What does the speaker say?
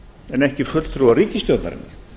en ekki fulltrúa ríkisstjórnarinnar